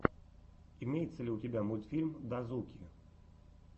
имеется ли у тебя мультфильм дазуки